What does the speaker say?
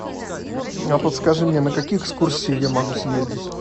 а подскажи мне на какие экскурсии я могу съездить